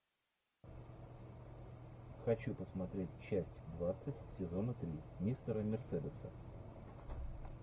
хочу посмотреть часть двадцать сезона три мистера мерседеса